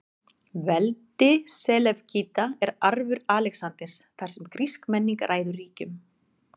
Veldi Selevkída er arfur Alexanders, þar sem grísk menning ræður ríkjum.